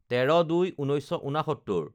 ১৩/০২/১৯৬৯